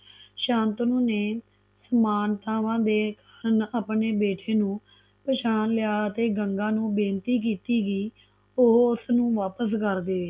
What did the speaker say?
ਸ਼ਾਂਤਨੂੰ ਨੇ ਸਮਾਨਤਾਵਾਂ ਦੇ ਆਪਣੇ ਬੇਟੇ ਨੂੰ ਪਹਿਚਾਣ ਲਿਆ ਅਤੇ ਗੰਗਾ ਨੂੰ ਬੇਨਤੀ ਕੀਤੀ ਕਿ ਉਹ ਉਸਨੂੰ ਵਾਪਿਸ ਕਰ ਦਵੇ